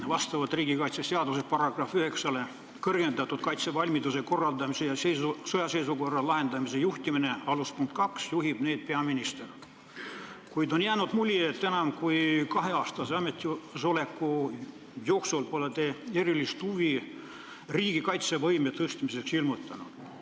Vastavalt riigikaitseseaduse § 9 "Kõrgendatud kaitsevalmiduse korraldamise ja sõjaseisukorra lahendamise juhtimine" punktidele juhib seda tegevust ka peaminister, kuid on jäänud mulje, et enam kui kaheaastase ametisoleku jooksul pole te erilist huvi riigi kaitsevõime suurendamise vastu ilmutanud.